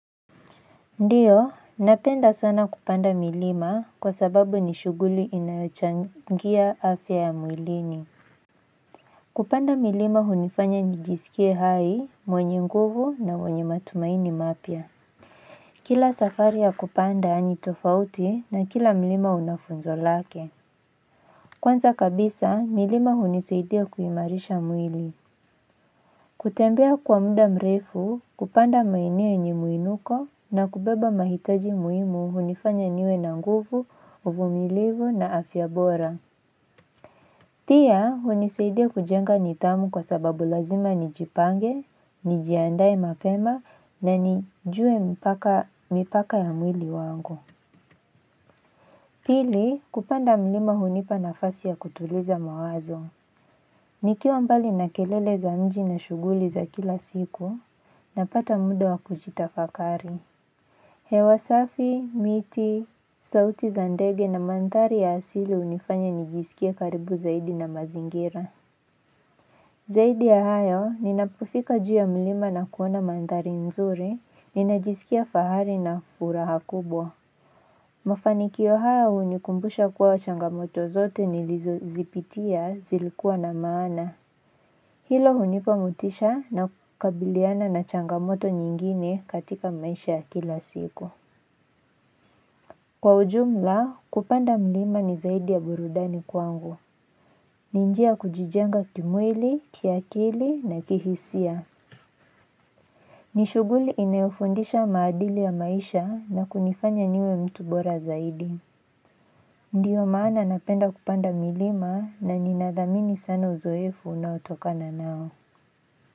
Ndiyo napenda sana kupanda milima kwa sababu ni shuguli inayochangia afya ya mwilini kupanda milima hunifanya nijisikie hai, mwenye nguvu na mwenye matumaini mapya kila safari ya kupanda ni tofauti na kila mlima una funzo lake kwanza kabisa milima hunisaidia kuimarisha mwili kutembea kwa muda mrefu, kupanda maeneo yenye muinuko na kubeba mahitaji muhimu hunifanya niwe na nguvu, uvumilivu na afya bora. Pia, hunisaidia kujenga nidhamu kwa sababu lazima nijipange, nijiandae mapema na nijue mipaka ya mwili wangu. Pili, kupanda mlima hunipa nafasi ya kutuliza mawazo. Nikiwa mbali na kelele za mji na shuguli za kila siku, napata muda wa kujitafakari. Hewa safi, miti, sauti za ndege na mandhari ya asili hunifanya nijisikie karibu zaidi na mazingira. Zaidi ya hayo, ninapofika juu ya mlima na kuona mandhari nzuri, ninajisikia fahari na furaha kubwa. Mafanikio haya hunikumbusha kuwa changamoto zote nilizo zipitia zilikuwa na maana. Hilo hunipa motisha na kukabiliana na changamoto nyingine katika maisha ya kila siku. Kwa ujumla, kupanda mlima ni zaidi ya burudani kwangu. Ni njia ya kujijenga kimwili, kiakili na kihisia. Ni shuguli inayofundisha maadili ya maisha na kunifanya niwe mtu bora zaidi. Ndiyo maana napenda kupanda milima na nina dhamini sana uzoefu unaotokana nao.